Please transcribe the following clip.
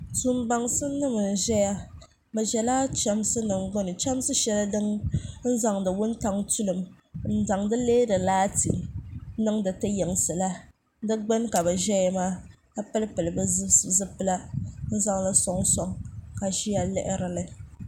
tuun baŋsim nim n ʒɛya bi ʒɛla chɛmsi nim gbuni chɛmsi shɛli din zaŋdi wuntaŋ tulim n neeri laati niŋdi ti yinsi la di gbuni ka bi ʒɛya maa ka pili pili bi zipila n zaŋli soŋsoŋ ka ʒiya lihirili